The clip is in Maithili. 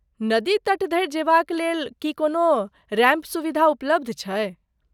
नदी तट धरि जेबाक लेल, की कोनो रैंप सुविधा उपलब्ध छै?